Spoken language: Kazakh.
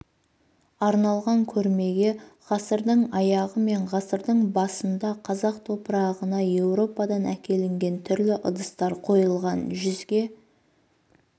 арналған көрмеге ғасырдың аяғы мен ғасырдың басында қазақ топырағына еуропадан әкелінген түрлі ыдыстар қойылған жүзге